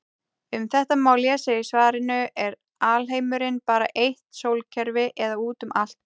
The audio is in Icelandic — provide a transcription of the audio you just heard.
Um þetta má lesa í svarinu Er alheimurinn bara eitt sólkerfi eða út um allt?